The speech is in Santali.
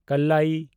ᱠᱟᱞᱞᱟᱭᱤ